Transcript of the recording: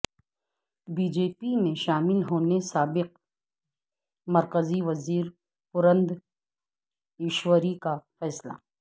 be J P میں شامل ہونے سابق مرکزی وزیر پورندیشوری کا فیصلہ